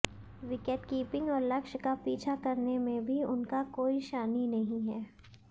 wicket keeping और लक्ष्य का पीछा करने में भी उनका कोई शानी नहीं है